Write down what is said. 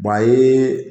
a ye